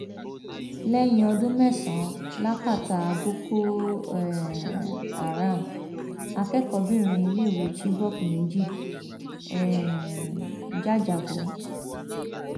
lẹyìn ọdún mẹsànán lákátá boko um haram akẹkọọbìnrin iléèwé chibok méjì um jájábọ